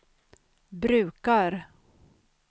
brukar